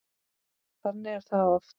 Þannig er það oft.